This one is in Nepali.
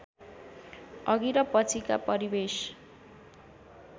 अघि र पछिका परिवेश